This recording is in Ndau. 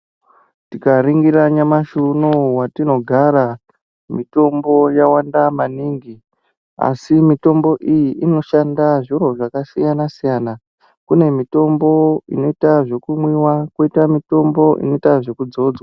Tikaringira nyamashi unowu watinogara mitombo yawanda maningi asi mitombo iyi inoshanda zviro zvakasiyana siyana , kune mitombo inoita zvekumwiwa koita mitombo inoitwa zvekudzodzwa.